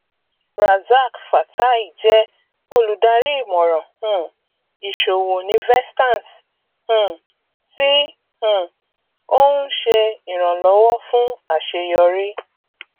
razaq fatai jẹ olùdarí ìmọràn um ìṣòwò ní vestance um tí um ó ń ṣe ìrànlọwọ fún àṣeyọrí